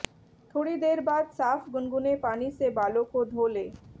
थोड़ी देर बाद साफ गुनगुने पानी से बालों को धो लें